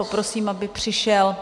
Poprosím, aby přišel